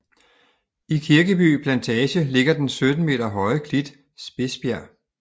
I Kirkeby Plantage ligger den 17 meter høje klit Spidsbjerg